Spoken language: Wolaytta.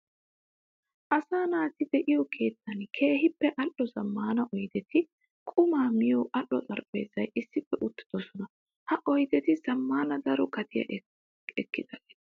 Asaa naati de'iyo keettan keehippe ali'o zamaana oyddetti qumma miyo aaho xaraphphezara issippe uttidossonna. Ha oyddetti zamaana daro gatiya ekkiyagetta.